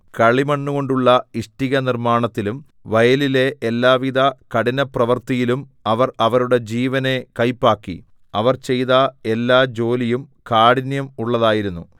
കളിമണ്ണുകൊണ്ടുള്ള ഇഷ്ടിക നിർമ്മാണത്തിലും വയലിലെ എല്ലാവിധ കഠിനപ്രവർത്തിയിലും അവർ അവരുടെ ജീവനെ കയ്പാക്കി അവർ ചെയ്ത എല്ലാ ജോലിയും കാഠിന്യം ഉള്ളതായിരുന്നു